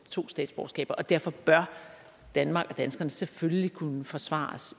to statsborgerskaber og derfor bør danmark og danskerne selvfølgelig kunne forsvares